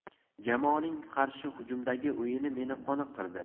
Jamoaning qarshi hujumdagi o‘yini meni qoniqtirdi.